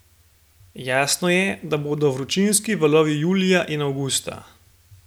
Jasno je, da bodo vročinski valovi julija in avgusta.